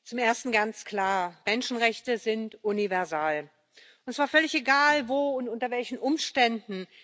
Zum Ersten ganz klar Menschenrechte sind universal, und zwar war völlig egal, wo und unter welchen Umständen.